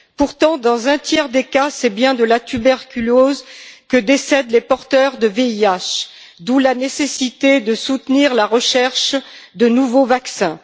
Pourtant, dans un tiers des cas, c'est bien de la tuberculose que décèdent les porteurs du VIH, d'où la nécessité de soutenir la recherche de nouveaux vaccins.